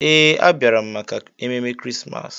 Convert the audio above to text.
Ee, a bịara m maka ememe Krismas.